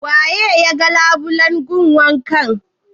Waye ya yaga labulen gun wankan?